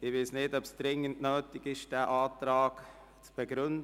Ich weiss nicht, ob es nötig ist, den Antrag zu begründen?